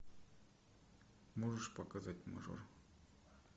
можешь показать мажор